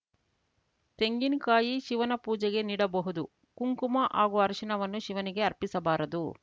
ತೆಂಗಿನಕಾಯಿ ಶಿವನ ಪೂಜೆಗೆ ನೀಡಬಹುದು ಕುಂಕುಮ ಹಾಗೂ ಅರಿಶಿನವನ್ನು ಶಿವನಿಗೆ ಅರ್ಪಿಸಬಾರದು